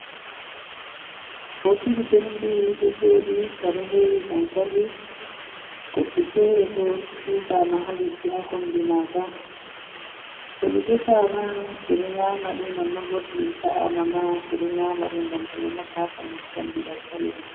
Bokiti penti do joɗi nga ɗo hewi dankali goɗɗi fere bo jugama ha leddi ha kombi maga to ɗi defama, ɓeɗo nyamaɗi non nobo toɗi sa’ama ma ɓeɗo nyamaɗi, ngam ɗiɗo nafa haɓandu kanji dankali mai.